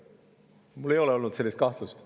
Mul ei ole olnud sellist kahtlust.